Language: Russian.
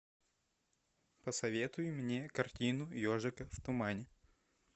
посоветуй мне картину ежика в тумане